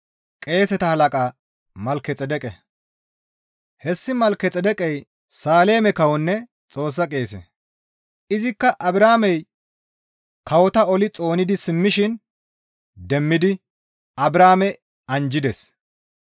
Hessi Malkexeedeqey Saaleme kawonne Xoossa qeese; izikka Abrahaamey kawota oli xoonidi simmishin demmidi Abrahaame anjjides.